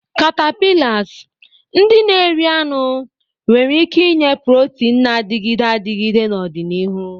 Caterpillars, ndị na-eri anụ, nwere ike inye protein na-adịgide adịgide n'ọdịnihu.